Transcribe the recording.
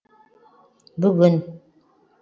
бүгін